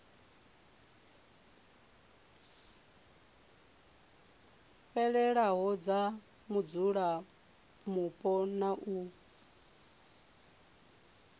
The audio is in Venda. fhelelaho dza mudzulapo na u